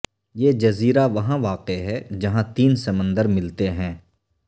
یہ جزیرہ وہاں واقع ہےجہاں تین سمندر ملتے ہیں